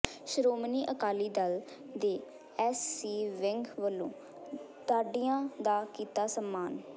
ਸ਼ੋ੍ਮਣੀ ਅਕਾਲੀ ਦਲ ਦੇ SC wing ਵੱਲੋਂ ਢਾਡੀਆਂ ਦਾ ਕੀਤਾ ਸਨਮਾਨ